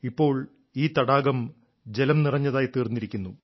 ഇപ്പോൾ ഈ തടാകം ജലം നിറഞ്ഞതായി തീർന്നിരിക്കുന്നു